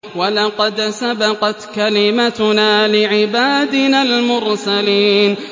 وَلَقَدْ سَبَقَتْ كَلِمَتُنَا لِعِبَادِنَا الْمُرْسَلِينَ